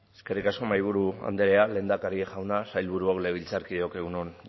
eskerrik asko mahaiburu andrea lehendakari jauna sailburuok legebiltzarkideok egun on